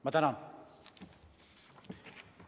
Ma tänan!